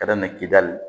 Ka daminɛ kidali